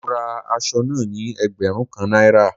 Mo ra asọ náà ní ẹgbẹ̀rún kan Náírà